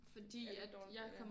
Er det dårligt eller